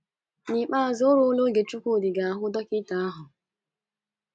N’ikpeazụ o ruola oge Chukwudi ga - ahụ dọkịta ahụ.